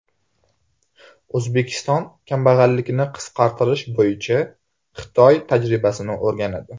O‘zbekiston kambag‘allikni qisqartirish bo‘yicha Xitoy tajribasini o‘rganadi.